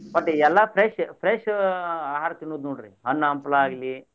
ಒಟ್ ಎಲ್ಲಾ fresh fresh ಆಹಾರ ತಿನ್ನುದ್ ನೋಡ್ರಿ ಹಣ್ಣ ಹಂಪಲಾ ಆಗ್ಲಿ.